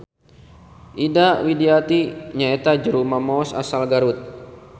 Ida Widawati nyaeta juru mamaos asal Garut.